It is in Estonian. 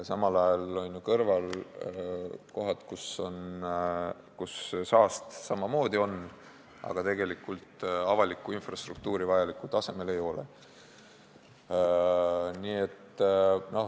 Samal ajal on ju seal kõrval kohad, kus saasta samamoodi on, aga avalikku infrastruktuuri vajalikul tasemel ei ole.